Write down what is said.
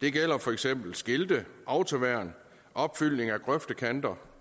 det gælder for eksempel skilte autoværn opfyldning af grøftekanter